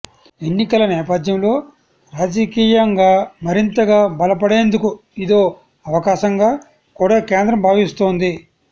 ఎన్నికల నేపథ్యంలో రాజకీయంగా మరింతగా బలపడేందుకు ఇదో అవకాశంగా కూడా కేంద్రం భావిస్తోంది